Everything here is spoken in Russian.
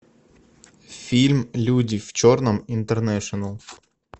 фильм люди в черном интернешнл